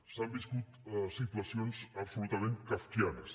s’han viscut situacions absolutament kafkianes